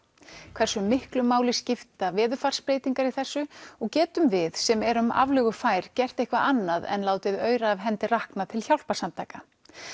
hversu miklu máli skipta veðurfarsbreytingar í þessu getum við sem erum aflögufær gert eitthvað annað en látið aura af hendi rakna til hjálparsamtaka